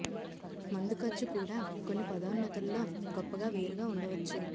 మందు ఖర్చు కూడా కొన్ని పదోన్నతుల్లో గొప్పగా వేరుగా ఉండవచ్చు